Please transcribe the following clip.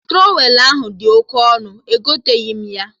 Trọwelụ ahụ dị oke ọnụ, egoteghi m ya